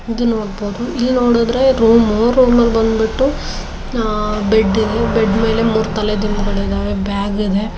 ಇದು ನೋಡಬೋದು. ಇಲ್ಲಿ ನೋಡಿದ್ರೆ ರೂಮು ರೊಮ್ ಅಲ ಬಂದ್ಬಿಟ್ಟು ಅಹ್ ಬೆಡ್ ಅಲ್ಲಿ. ಬೆಡ್ ಮೇಲೆ ಮೂರು ತಲೆ ದಿಂಬುಗಳು ಇದಾವೆ. ಬ್ಯಾಗ್ ಇದೆ.